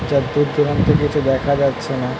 চারদিক দূর দূরান্তে কিছু দেখা যাচ্ছে না।